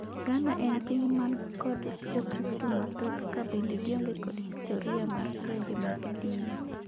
Ghana en piny man kod jokristu mathoth ka bende gionge kod historiya mar lwenje mag din.